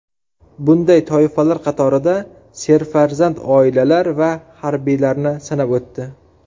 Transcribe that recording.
Bunday toifalar qatorida serfarzand oilalar va harbiylarni sanab o‘tdi.